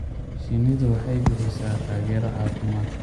Shinnidu waxay bixisaa taageero caafimaad.